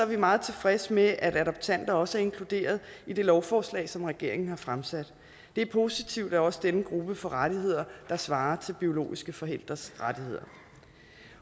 vi meget tilfredse med at adoptanter også er inkluderet i det lovforslag som regeringen har fremsat det er positivt at også denne gruppe får rettigheder der svarer til biologiske forældres rettigheder